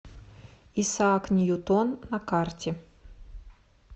исаак ньютон на карте